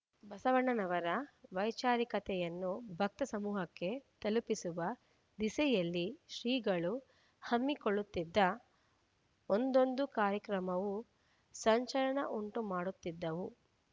ಬಸವಣ್ಣನವರ ವೈಚಾರಿಕತೆಯನ್ನು ಭಕ್ತ ಸಮೂಹಕ್ಕೆ ತಲುಪಿಸುವ ದಿಸೆಯಲ್ಲಿ ಶ್ರೀಗಳು ಹಮ್ಮಿಕೊಳ್ಳುತ್ತಿದ್ದ ಒಂದೊಂದು ಕಾರ್ಯಕ್ರಮವೂ ಸಂಚಲನ ಉಂಟು ಮಾಡುತ್ತಿದ್ದವು